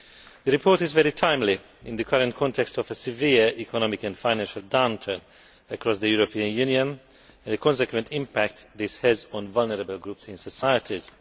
The report is very timely in the current context of a severe economic and financial downturn across the European Union and the consequent impact this has on vulnerable groups in societies.